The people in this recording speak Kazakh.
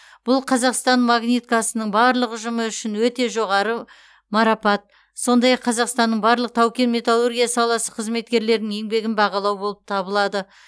бұл қазақстан магниткасының барлық ұжымы үшін өте жоғары марапат сондай ақ қазақстанның барлық тау кен металлургия саласы қызметкерлерінің еңбегін бағалау болып табылады